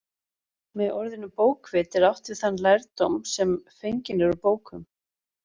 Með orðinu bókvit er átt við þann lærdóm sem fenginn er úr bókum.